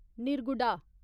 Nirguda